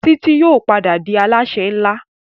Titi yóò pàdà dì Alásè nlá.